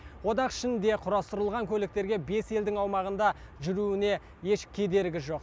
одақ ішінде құрастырылған көліктерге бес елдің аумағында жүруіне еш кедергі жоқ